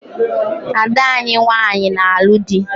Ada anyị nwanyị na-alu dị